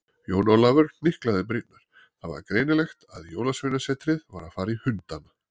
Jón Ólafur hnyklaði brýnnar, það var greinilegt að Jólasveinasetrið var að fara í hundana.